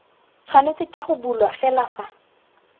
tshwanetse go bulwa fela fa